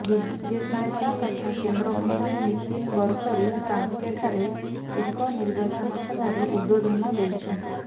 BJP ନେତା ତଥା କେନ୍ଦ୍ରମନ୍ତ୍ରୀ ନୀତିନ ଗଡ଼କରୀ କାଙ୍କେଠାରେ ଏକ ନିର୍ବାଚନ ସଭାରେ ଉଦ୍ବୋଧନ ଦେଇଛନ୍ତି